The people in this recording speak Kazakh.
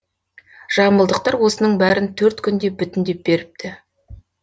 жамбылдықтар осының бәрін төрт күнде бүтіндеп беріпті